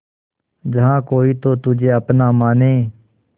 जहा कोई तो तुझे अपना माने